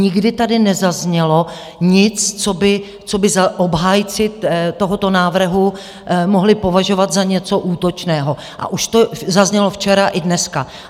Nikdy tady nezaznělo nic, co by obhájci tohoto návrhu mohli považovat za něco útočného, a už to zaznělo včera i dneska.